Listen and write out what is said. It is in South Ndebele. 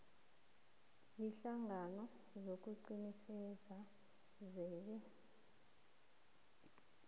ziinhlangano zokuqinisekisa zebee